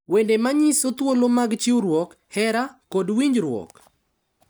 Wende ma nyiso thuolo mag chiwruok, hera, kod winjruok